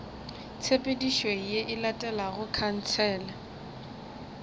tshepedišo ye e latelago khansele